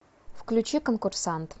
включи конкурсант